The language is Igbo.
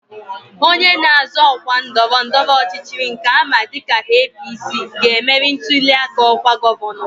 Onye na-azọ ọkwa ndọrọndọrọ ọchịchị nke ama dịka APC, ga-emeri ntụli aka ọkwa gọvanọ